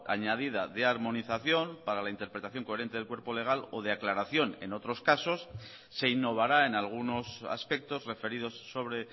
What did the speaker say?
añadida de armonización para la interpretación coherente del cuerpo legal o de aclaración en otros casos se innovará en algunos aspectos referidos sobre